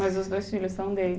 Mas os dois filhos são?